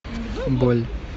боль